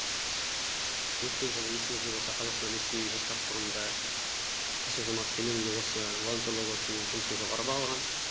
өткен жылы есіңізде болса қазақстан ресей жастар форумында қасым жомарт кемелұлы осы волонтерлар корпусының жұмысын жоғары бағалаған